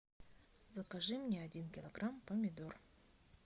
закажи мне один килограмм помидор